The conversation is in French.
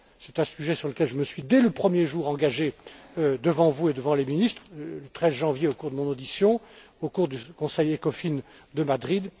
C'est un sujet sur lequel je me suis engagé dès le premier jour devant vous et devant les ministres, le 13 janvier, au cours de mon audition et au cours du Conseil Ecofin de Madrid.